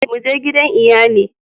Mu je gidan iyali